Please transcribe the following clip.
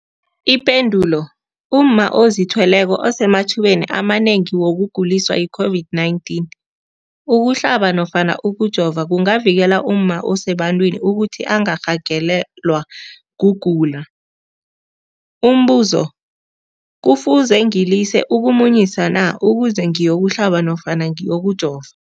Ipendulo, umma ozithweleko usemathubeni amanengi wokuguliswa yi-COVID-19. Ukuhlaba nofana ukujova kungavikela umma osebantwini ukuthi angarhagalelwa kugula. Umbuzo, kufuze ngilise ukumunyisa na ukuze ngiyokuhlaba nofana ngiyokujova?